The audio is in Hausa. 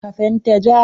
Ka fenta ja.